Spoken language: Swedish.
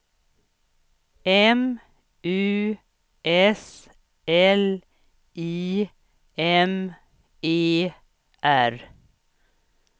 M U S L I M E R